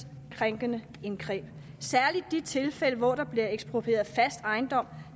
krænkende indgreb særlig i de tilfælde hvor der bliver eksproprieret fast ejendom